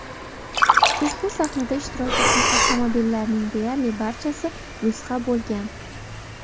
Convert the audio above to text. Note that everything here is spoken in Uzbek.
Ushbu sahnada ishtirok etgan avtomobillarning deyarli barchasi nusxa bo‘lgan.